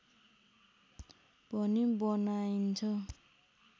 पनि बनाइन्छ